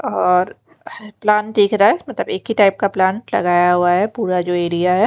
और प्लांट दिख रहा है मतलब एक ही टाइप का प्लांट लगाया हुआ है पूरा जो एरिया है।